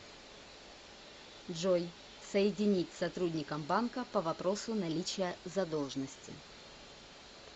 джой соединить с сотрудником банка по вопросу наличия задолжности